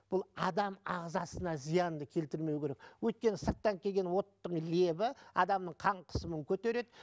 бұл адам ағзасына зиянды келтірмеу керек өйткені сырттан келген оттың лебі адамның қан қысымын көтереді